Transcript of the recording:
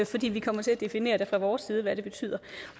fordi vi kommer til at definere fra vores side hvad det betyder